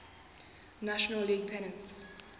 national league pennant